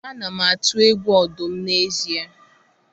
Ana m atụ egwu ọdụm n'ezie